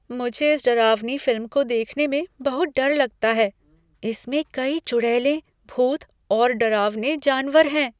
मुझे इस डरावनी फिल्म को देखने में बहुत डर लगता है। इसमें कई चुड़ैलें, भूत और डरावने जानवर हैं।